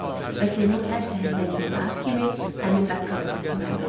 Və Seymur hər səhər zəngli saat kimi həmin daqqıltı səsini oyanırdı.